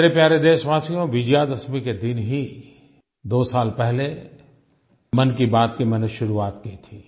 मेरे प्यारे देशवासियो विजयादशमी के दिन ही 2 साल पहले मन की बात की मैंने शुरुआत की थी